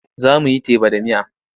Za mu yi teba da miya.